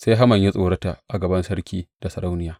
Sai Haman ya tsorota a gaban sarki da sarauniya.